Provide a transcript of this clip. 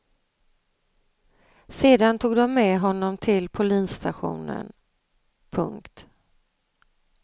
Sedan tog de med honom till polisstationen. punkt